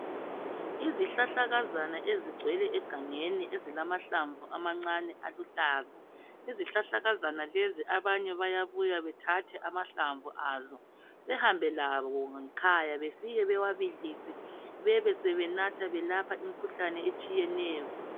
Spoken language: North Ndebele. izihlahlakazana ezigcwele egangeni ezilamahlamvu amancane aluhlaza. Izihlahlakazana lezi abanye bayabuya bethathe amahlamvu azo behambe lawo ngekhaya befike bewabilise bebesebenatha belapha imikhuhlane etshiyeneyo.